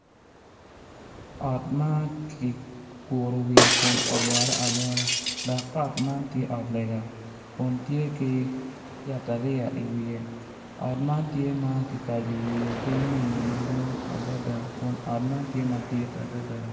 Ot ma kiguro wiye kun olwore alwora dok ot man tye ot lega kun tye ki yatariya iwiye ot man tye ma kikaco wiye ki nyonyo madwong adada kun ot man tye madit adada.